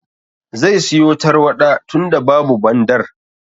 Zai siyo tarwaɗa tunda babu Bandar.